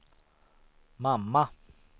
mamma